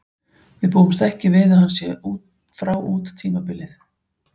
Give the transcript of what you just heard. Við búumst ekki við að hann sé frá út tímabilið.